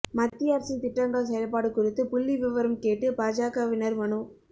மத்திய அரசின் திட்டங்கள் செயல்பாடு குறித்து புள்ளிவிவரம் கேட்டு பாஜகவினா் மனு